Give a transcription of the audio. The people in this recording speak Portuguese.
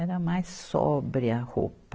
Era mais sóbria a roupa.